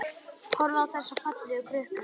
Horfir á þessa fallegu krukku.